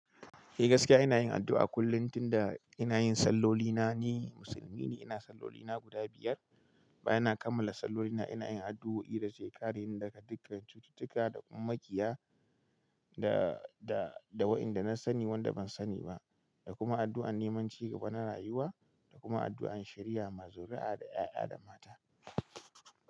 Eh gaskiya ina yin addu'a kullum tunda ina yin sallolina ni Musulmi ne, ina sallolina guda biyar. Bayan na kammala sallolina ina yin addu'o'i da kereni, daga dukkan cututtuka dakuma makiya da, da, da wa'inda na sani wanda ban sani ba. Da kuma addu'an neman cigaba na rayuwa da kuma addu'an shari'a ma zurara da 'ya'ya da mata.